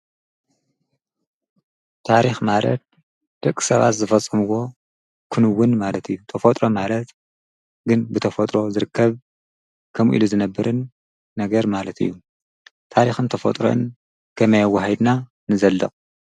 ታሪኽ ማለት ደቂ ሰባት ዝፈፀምዎ ክንውን ማለት እዩ፤ ተፈጥሮ ማለት ግን ብተፈጥሮ ዝርከብ ከምኡ ኢሉ ዝነብርን ነገር ማለት እዩ ። ታሪኽን ተፈጥሮን ከመይ ኣወሃሂድና ንዘልቕ ?